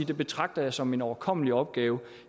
jeg betragter som en overkommelig opgave